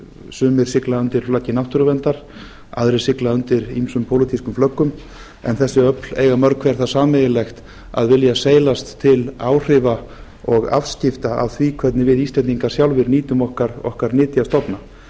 sumir sigla undir flaggi náttúruverndar aðrir sigla undir ýmsum pólitískum flöggum en þessi öfl eiga mörg hver það sameiginlegt að vilja seilast til áhrifa og afskipta af því hvernig við íslendingar sjálfir nýtum okkar nytjastofna